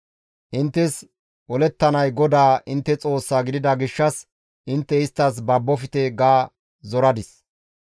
Inttes olettanay GODAA intte Xoossaa gidida gishshas intte isttas babbofte» ga zoradis.